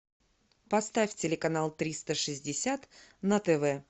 поставь телеканал триста шестьдесят на тв